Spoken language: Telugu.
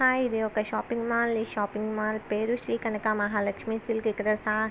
ఇది ఒక షాపింగ్ మాల్ ఈ షాపింగ్ మాల్ పేరు శ్రీ కనకమహాలక్ష్మి సిల్క్ --